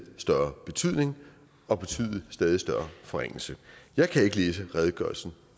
større betydning og betyde en stadig større forringelse jeg kan ikke læse redegørelsen